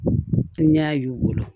N y'a y'u bolo